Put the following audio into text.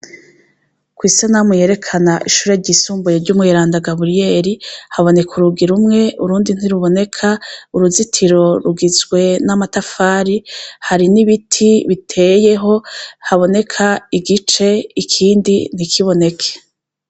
Kw'isanamu yerekana ishure ryisumbuye ry'Umweranda Gaburiyeri, haboneka urugi rumwe, urundi ntiruboneka. Uruzitiro rugizwe n'amatafari, hari n'ibiti biteyeho. haboneka igice ikindi ntikiboneke.